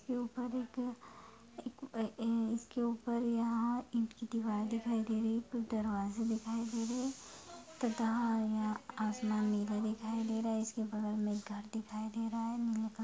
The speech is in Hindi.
के ऊपर एक अ-अ इसके ऊपर यहाँ ईट की दीवार दिखाई दे रही है एक दरवाजे दिखाई दे रहे है तथा यहाँ अ आसमान नीला दिखाई दे रहा है इसके बगल में एक घर दिखाई दे रहा है नीले कलर --